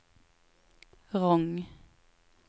Rong